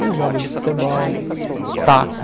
E os jogos de futebol, taco.